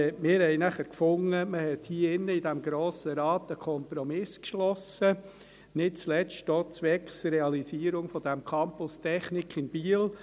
Mir fanden dann, man habe hier im Grossen Rat einen Kompromiss geschlossen, nicht zuletzt auch zwecks Realisierung dieses Campus’ Technik in Biel.